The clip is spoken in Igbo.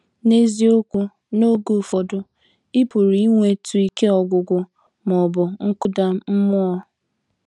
N’eziokwu, n’oge ụfọdụ ị pụrụ inwetụ ike ọgwụgwụ ma ọ bụ nkụda mmụọ.